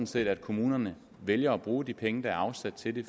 set at kommunerne vælger at bruge de penge der er afsat til det